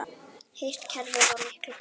Hitt kerfið var miklu betra.